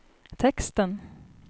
texten